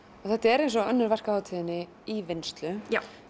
þetta er eins og önnur verk á hátíðinni í vinnslu